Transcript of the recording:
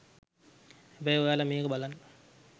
හැබැයි ඔයාල මේක බලන්න